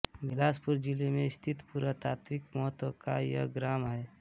बिलासपुर जिले में स्थित पुरातात्विक महत्व का यह ग्राम है